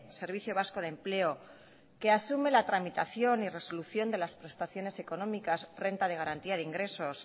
servicio vasco de empleo que asume la tramitación y resolución de las prestaciones económicas renta de garantía de ingresos